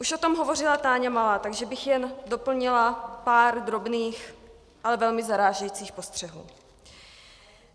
Už o tom hovořila Táňa Malá, takže bych jen doplnila pár drobných, ale velmi zarážejících postřehů.